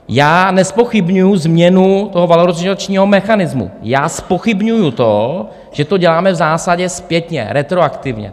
Já nezpochybňuji změnu toho valorizačního mechanismu, já zpochybňuji to, že to děláme v zásadě zpětně, retroaktivně.